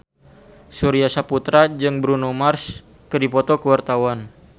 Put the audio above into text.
Surya Saputra jeung Bruno Mars keur dipoto ku wartawan